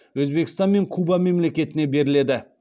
өзбекстан мен куба мемлекетіне беріледі